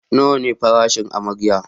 Nawa ne farashin amarya?